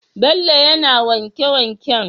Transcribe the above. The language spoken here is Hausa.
Bello yAna wanke wanken?